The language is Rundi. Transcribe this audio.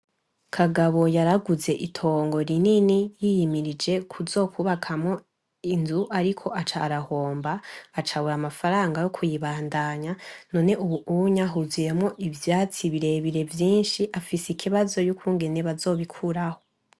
Kagabo yari aguze itongo rinini yiyimirije kuzokubakamwo inzu, ariko aca arahomba aca abura amafaranga yo kuyibandanya, none ubunya huzuyemwo ivyatsi birebire vyinshi afise ikibazo yukungene bazobikuraho.